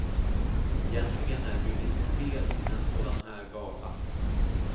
Egentligen är det ju lite fel med en sådan här gala.